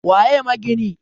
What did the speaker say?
waye magini?